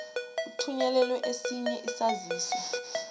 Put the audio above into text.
uthunyelelwe esinye isaziso